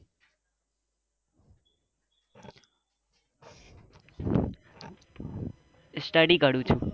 Study કરું છું?